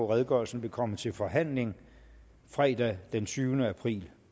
redegørelsen vil komme til forhandling fredag den tyvende april